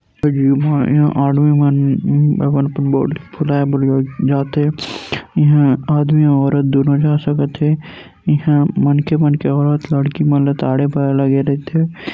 उहा इहा आदमी मन उम् अपन अपन बॉडी फुलाए बर इहा आदमी औरत दुनो जा सकत हे इहा मनखे मन के औरत लड़की मन ल ताड़े बर लगे रथे।